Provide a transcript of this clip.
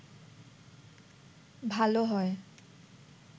ভালো হয়